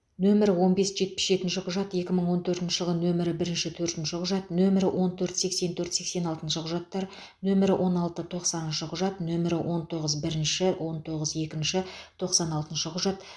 нөмірі он бес жетпіс жетінші құжат екі мың он төртінші жылы нөмірі бірінші төртінші құжат нөмірі он төрт сексен төрт сексен алтыншы құжаттар нөмірі он алты тоқсаныншы құжат нөмірі он тоғыз бір он тоғыз екі тоқсан алтыншы құжат